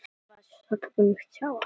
Ég þekkti strák sem var montinn og spurði